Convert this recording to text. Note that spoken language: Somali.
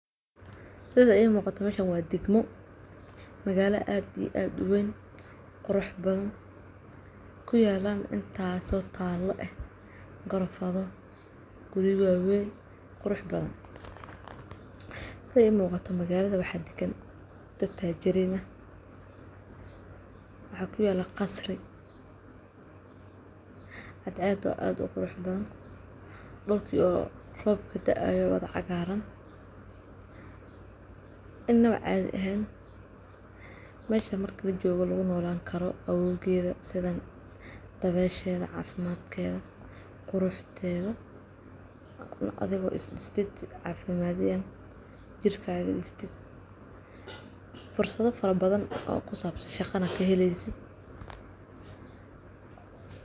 Sida ii muuqato meshan waa dagmo magala aad iyo aad u wayn qurux badan ku yaalan intaaso taalo eh garoofado wabi waawayn qurux badan. Sida i muuqata magalada waxaa dagan dad taajirin ah waxaa kuyaala qasri cadceedo aad u qurux badan dhulkii oo roob kudaayo wada cagaaran inaba caadi ahayn meshan marki lajoogo lagu noolan karo qabowgeeda sidan dabeesheda, caafimadkeeda, quruxdeeda adigo is dadasi caafimad yahan jirkaaga fursada fara badan oo ku sabsan shaqana kahelaysid.